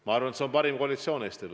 Ma arvan, et see on parim koalitsioon Eestile.